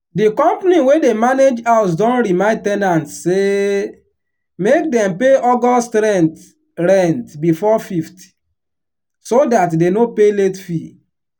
di company wey dey manage house don remind ten ants say make dem pay august rent rent before 5th so dat dey no pay late fee.